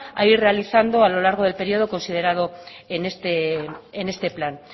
a ir realizando a lo largo del periodo considerado en este plan